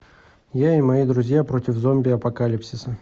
я и мои друзья против зомби апокалипсиса